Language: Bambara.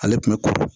Ale tun bɛ kuru